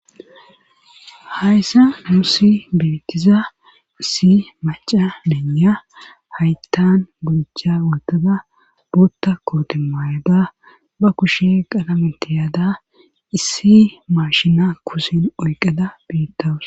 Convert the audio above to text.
hayssa nuusi betiza issi maca beeniya hayttan buja wootada boutta kooti mayada ba kushe qalamentiyaada issi maashina kusin oyqada betawus